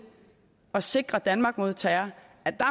at sikre danmark mod terror